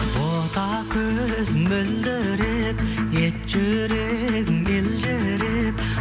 бота көзің мөлдіреп ет жүрегің елжіреп